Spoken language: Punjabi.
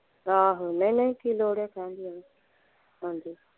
ਆਹੋ ਨਹੀਂ ਨਹੀਂ ਕੀ ਲੋੜ ਆ ਕਹਿਣ ਦੀ ਐਵੇਂ ਹਾਂਜੀ।